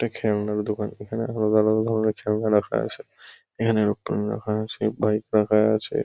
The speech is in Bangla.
এটা খেলনার দোকান। এখানে আলাদা আলাদা ধরণের খেলনা রাখা আছে। এখানে এরোপ্লেন রাখা আছে বাইক রাখা আছে।